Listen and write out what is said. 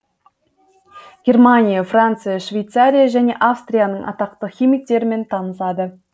германия франция швейцария және австрияның атақты химиктерімен танысады